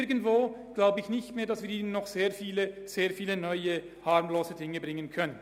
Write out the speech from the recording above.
Ich glaube nicht, dass wir Ihnen noch sehr viele harmlose Dinge vorschlagen können.